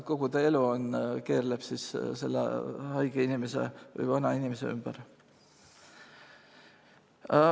Kogu ta elu keerleb selle haige inimese või vanainimese ümber.